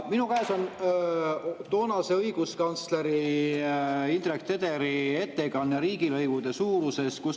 Minu käes on kunagise õiguskantsleri Indrek Tederi toonane ettekanne riigilõivude suurusest.